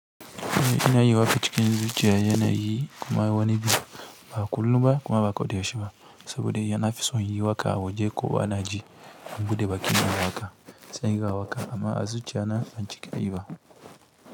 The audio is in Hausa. Ina yi wafe cikin zance yana yi kuma yawani biyu ba a kullu ba kuma ba kodaya shi ba, saboda yana fi son yi waƙa a waje kowa na ji, in buɗe bakina a haka, sai ga waƙa amma a zuciya na ban cika yi ba.